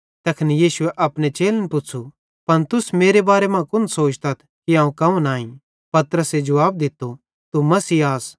तैखन यीशुए अपने चेलन पुच़्छ़ू पन तुस मेरे बारे मां कुन सोचतथ कि अवं कौन आईं पतरसे जुवाब दित्तो तू मसीह आस